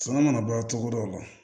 Suman kana bɔ cogo dɔ la